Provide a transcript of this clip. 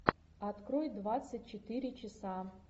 открой двадцать четыре часа